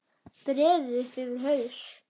Breiði upp yfir haus.